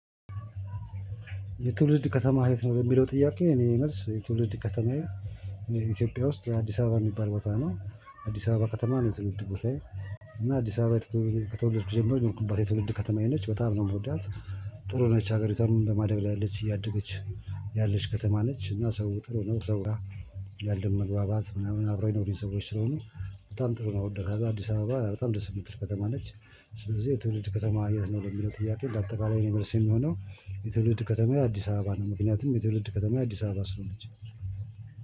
የትውልድ ከተማ የት ነው የሚለው ጥያቄ? እኔ መልስ የትውልድ ከተማ ኢትዮጵያ ውስጥ አዲስ አበባ የሚባል ቦታ ነው። አዲስ አበባ ከተማ ነው የተወለደው ቦታዬ። እና አዲስ አበባ ከተወለደው ከጀመረች የሆንኩባት የተወለደ ከተማዬ ነች በጣም ነው የምወዳት። ጥሩ ነች ሀገሪቷን በማደግ ላይ ያለች እያደገች ያለች ከተማ ነች። እና ሰው ጥሩ ነው ሰው ያለም ምናምን አብሮ የኖሩኝ ሰዎች ስለሆኑ በጣም ጥሩ ነው እወዳታለው። አዲስ አበባ በጣም ደስ የምትል ከተማ ነች። ስለዚህ የትውልድ ከተማ የት ነው ለሚለው ትያክል ለአጠቃላይ የኔ መልስ የሚሆነው። የትውልድ ከተማ የአዲስ አበባ ነው ምክንያቱም የትውልድ ከተማ አዲስ አበባ ስለሆነች